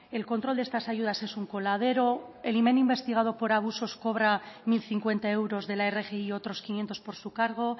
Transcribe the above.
el control de estas ayudas es un coladero el imán investigado por abusos cobra mil cincuenta euros de la rgi y otros quinientos por su cargo